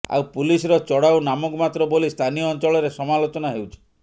ଆଉ ପୁଲିସର ଚଢଉ ନାମକୁ ମାତ୍ର ବୋଲି ସ୍ଥାନୀୟ ଅଞ୍ଚଳରେ ସମାଲୋଚନା ହେଉଛି